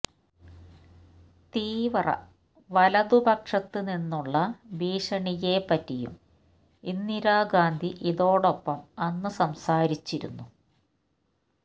തീവ്ര വലതു പക്ഷത് നിന്നുള്ള ഭീഷണിയെ പറ്റിയും ഇന്ദിരാ ഗാന്ധി ഇതോടൊപ്പം അന്ന് സംസാരിച്ചിരുന്നു